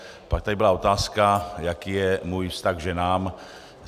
Pak tady byla otázka, jaký je můj vztah k ženám.